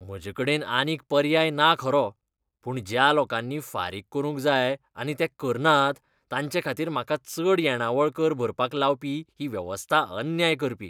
म्हजेकडेन आनीक पर्याय ना खरो. पूण ज्या लोकांनी फारीक करूंक जाय आनी ते करनात, तांचेखातीर म्हाका चड येणावळ कर भरपाक लावपी ही वेवस्था अन्याय करपी.